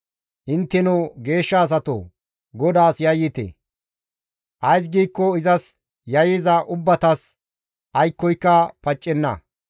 Intteno geeshsha asatoo! GODAAS yayyite; ays giikko izas yayyiza ubbatas aykkoyka paccenna.